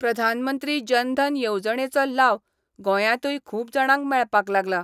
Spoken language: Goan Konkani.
प्रधानमंत्री जनधन येवजणेचो लाव गोंयातूय खूप जाणांक मेळपाक लागला.